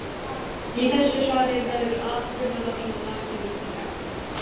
Í þessu svari verður atburðarásin rakin ítarlega.